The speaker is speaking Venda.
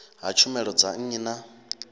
ha tshumelo dza nnyi na